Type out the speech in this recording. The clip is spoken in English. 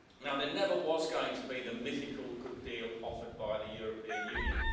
There never was going to be the mythical good deal offered by the European Union.